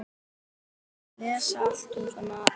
Lesa allt um svona æxli?